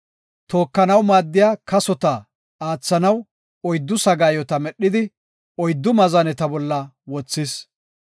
Tookanaw maaddiya kasota aathanaw, oyddu sagaayota medhidi, oyddu maazaneta bolla wothis.